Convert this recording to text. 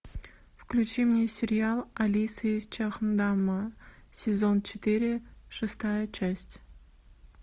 включи мне сериал алиса из чхондама сезон четыре шестая часть